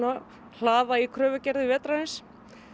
hlaða í kröfugerðir vetrarins